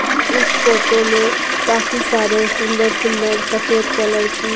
इस फोटो में काफी सारे सुंदर-सुंदर सफेद कलर --